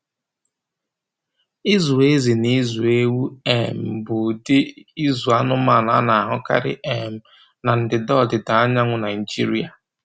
Ịzụ ezi na ịzụ ewu um bụ ụdị ịzụ anụmanụ a na-ahụkarị um na ndịda ọdịda anyanwụ Nigeria.